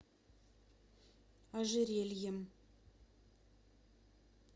ожерельем